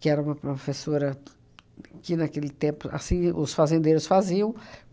que era uma professora que, naquele tempo, assim os fazendeiros faziam.